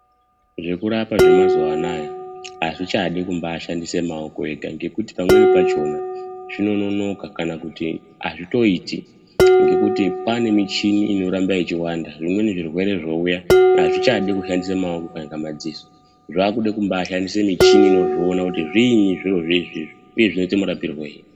Zvekurapa zvemazuwaanaya azvichadi kumbashandisa amaoko ega ngekuti pamweni pachona zvinonoka kana kuti azvitoiti ngekuti kwane michini inoramba ichiwanda zvimweni zvirwere zvouya azvichadi kushandise muoko kana madziso zvakude kumbashandise michini inozviona kuti zvinyi zviri zvinezvi uye zvinoite murapirwei.